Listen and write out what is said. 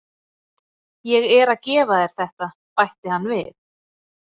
Ég er að gefa þér þetta, bætti hann við.